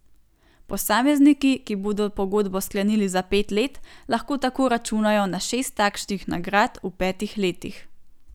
Posamezniki, ki bodo pogodbo sklenili za pet let, lahko tako računajo na šest takšnih nagrad v petih letih.